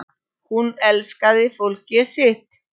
Hún elskaði fólkið sitt.